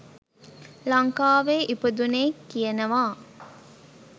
ලංකාවේ ඉපදුනේ කියනවා